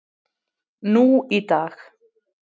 nú í dag.